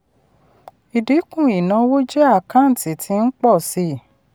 ìdínkù ìnáwó jẹ́ àkántì tí ń pọ̀ sí.